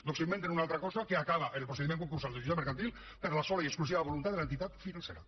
doncs s’inventen una altra cosa que acaba en el procediment concursal del jutjat mercantil per la sola i exclusiva voluntat de l’entitat financera